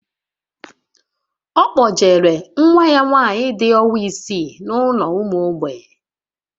Ọ kpọjere nwa ya nwaanyị dị ọnwa isii n'ụlọ ụmụ mgbei